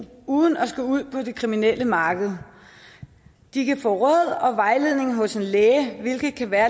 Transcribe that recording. uden at skulle ud på det kriminelle marked de kan få råd og vejledning hos en læge hvilket kan være